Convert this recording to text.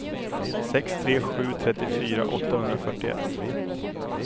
sex tre sju tre fyrtiofyra åttahundrafyrtioett